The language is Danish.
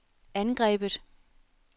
angrebet